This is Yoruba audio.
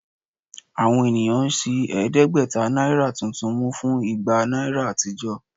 Àwọn ènìyàn ń ṣi ẹ̀ẹ́dẹ́gbẹ̀ta náírà tuntun mú fún igba náírà àtijọ́